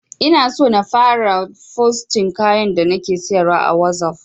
Inaso in fara fosting kayan da nake siyarwa a wazof